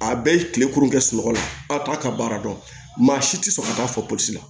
A bɛɛ ye kilekurun kɛ sunɔgɔ la k'a ka baara dɔn maa si tɛ sɔn ka taa fɔ polisi la